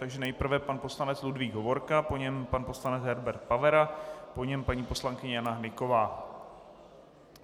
Takže nejprve pan poslanec Ludvík Hovorka, po něm pan poslanec Herbert Pavera, po něm paní poslankyně Jana Hnyková.